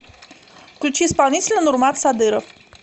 включи исполнителя нурмат садыров